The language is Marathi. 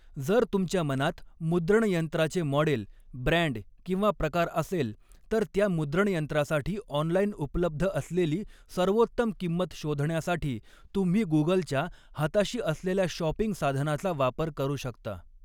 जर तुमच्या मनात मुद्रणयंत्राचे मॉडेल, ब्रँड किंवा प्रकार असेल, तर त्या मुद्रणयंत्रासाठी ऑनलाइन उपलब्ध असलेली सर्वोत्तम किंमत शोधण्यासाठी तुम्ही गुगलच्या, हाताशी असलेल्या शॉपिंग साधनाचा वापर करू शकता.